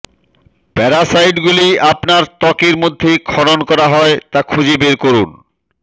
প্যারাসাইটগুলি আপনার ত্বকের মধ্যে খনন করা হয় তা খুঁজে বের করুন